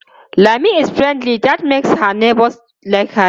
Lami is friendly and that makes her neighbors like her alot.